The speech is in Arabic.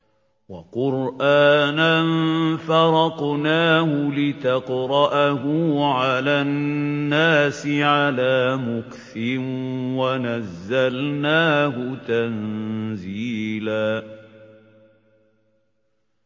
وَقُرْآنًا فَرَقْنَاهُ لِتَقْرَأَهُ عَلَى النَّاسِ عَلَىٰ مُكْثٍ وَنَزَّلْنَاهُ تَنزِيلًا